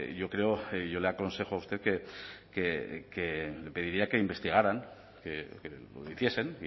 yo creo y yo le aconsejo a usted que pediría que investigaran que lo hiciesen